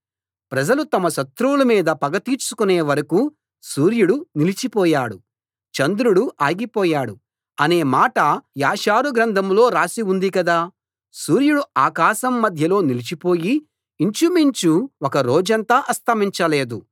ప్రజలు తమ శత్రువుల మీద పగ తీర్చుకొనే వరకూ సూర్యుడు నిలిచిపోయాడు చంద్రుడు ఆగిపోయాడు అనే మాట యాషారు గ్రంథంలో రాసి ఉంది కదా సూర్యుడు ఆకాశం మధ్యలో నిలిచిపోయి ఇంచుమించు ఒక రోజంతా అస్తమించ లేదు